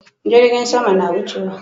Jirgin sama na wucewa